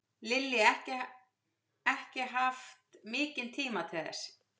Lillý: Ekki haft mikinn tíma til þess?